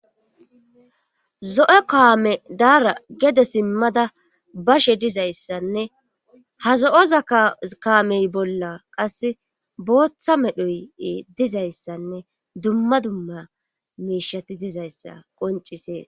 zo7e kaame daara gede simmada bashe dizayssanne ha zo7oza kaamey bolla qase booththa medhoy dizayssanne dumma dumma meeshati dizayssa qoncisees